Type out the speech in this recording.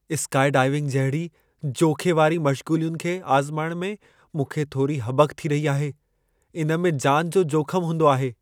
Skydiving जहिड़ी जोख़े वारी मश्ग़ूलियुनि खे आज़माइण में मूंखे थोरी हॿक थी रही आहे। इन में जानि जो जोखिमु हूंदो आहे।